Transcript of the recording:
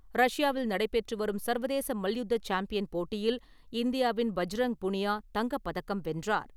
ரஷ்யாவில் நடைபெற்றுவரும் சர்வதேச மல்யுத்த சாம்பியன் போட்டியில் இந்தியாவின் பஜ்ரங் புனியா தங்கப் பதக்கம் வென்றார்.